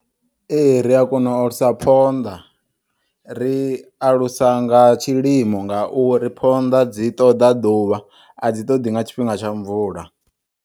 Ee, ria kona u alusa phonḓa, ri alusa nga tshilimo ngauri phonḓa dzi ṱoḓa ḓuvha adzi ṱoḓi nga tshifhinga tsha mvula.